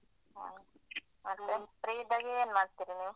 ಹಾ ಮತ್ತೆ free ಇದ್ದಾಗ ಏನ್ ಮಾಡ್ತಿರಿ ನೀವ್?